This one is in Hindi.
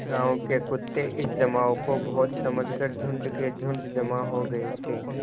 गाँव के कुत्ते इस जमाव को भोज समझ कर झुंड के झुंड जमा हो गये थे